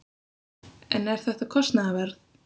En er þetta kostnaðarverð?